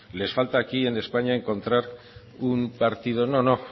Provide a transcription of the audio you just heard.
les falta aquí en españa encontrar un partido no no